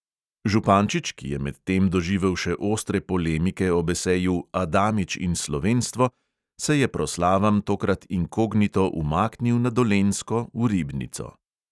Župančič, ki je medtem doživel še ostre polemike ob eseju "adamič in slovenstvo", se je proslavam tokrat inkognito umaknil na dolenjsko v ribnico.